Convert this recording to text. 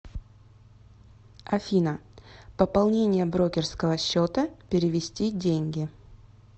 афина пополнение брокерского счета перевести деньги